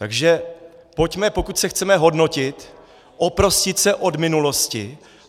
Takže pojďme, pokud se chceme hodnotit, oprostit se od minulosti.